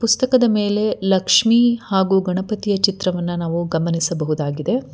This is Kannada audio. ಪುಸ್ತಕದ ಮೇಲೆ ಲಕ್ಷ್ಮೀ ಹಾಗು ಗಣಪತಿಯ ಚಿತ್ರವನ್ನ ನಾವು ಗಮನಿಸಬಹುದಾಗಿದೆ.